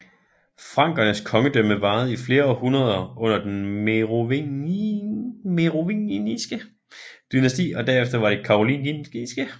Frankernes kongedømme varede i flere århundreder under det merovingiske dynasti og derefter under det karolingiske